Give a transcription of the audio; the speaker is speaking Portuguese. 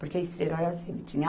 Porque a Estrela era assim. Tinha